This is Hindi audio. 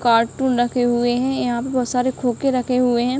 कार्टून रखे हुए है यहाँ पे बहोत सारे खोके रखे हुए हैं।